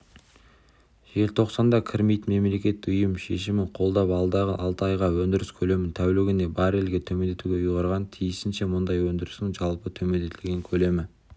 желтоқсанда кірмейтін мемлекет ұйым шешімін қолдап алдағы алты айға өндіріс көлемін тәулігіне баррельге төмендетуді ұйғарған тиісінше мұнай өндірісінің жалпы төмендетілген көлемі